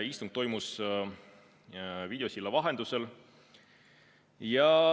Istung toimus videosilla vahendusel.